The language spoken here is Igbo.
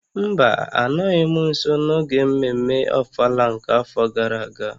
Mba, anọghị m nso n'oge mmemme ofala nke afọ gara aga